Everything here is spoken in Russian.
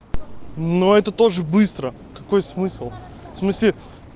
но это тоже быстро какой смысл в смысле